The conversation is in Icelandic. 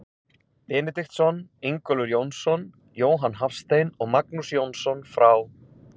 Benediktsson, Ingólfur Jónsson, Jóhann Hafstein og Magnús Jónsson frá